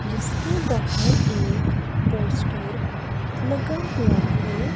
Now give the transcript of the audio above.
जिसके बाहर एक पोस्टर लगा हुआ है।